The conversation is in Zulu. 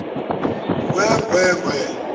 ngwee ngwee ngwee